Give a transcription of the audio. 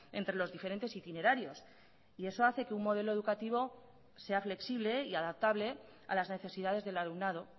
entre los diferentes itinerarios y eso hace que un modelo educativo sea flexible y adaptable a las necesidades del alumnado